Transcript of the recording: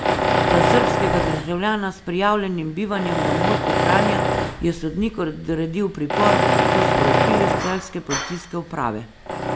Za srbskega državljana s prijavljenim bivanjem na območju Kranja je sodnik odredil pripor, so sporočili s celjske policijske uprave.